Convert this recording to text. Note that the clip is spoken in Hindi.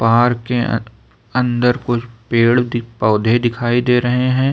पार्क के अं अंदर कुछ पेड़ पौधे दिखाई दे रहे हैं।